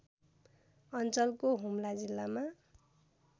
अञ्चलको हुम्ला जिल्लामा